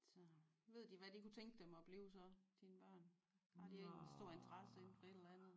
Så ved de hvad de kunne tænke dem at blive så dine børn? Har de ikke en stor interesse inden for et eller andet?